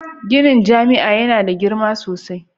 Ginin jami'a yana da girma sosai